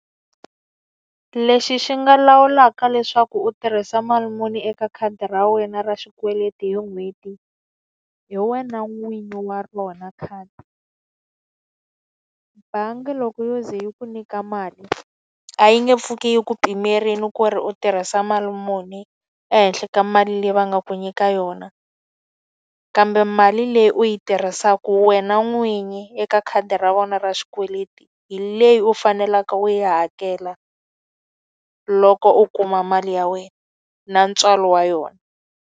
Lexi xi nga lawulaka leswaku u tirhisa mali muni eka khadi ra wena ra xikweleti hi n'hweti, hi wena n'winyi wa rona khadi. Bangi loko yo ze yi ku nyika mali, a yi nge pfuki yi ku pimerile ku ri u tirhisa mali muni ehenhla ka mali leyi va nga ku nyika yona. Kambe mali leyi leyi u yi tirhisaka wena n'winyi eka khadi ra vona ra xikweleti hi leyi u faneleke u yi hakela loko u kuma mali ya wena na ntswalo wa yona.